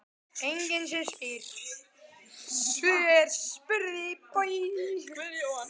Enginn sem spyr: Hvar er Jóhann?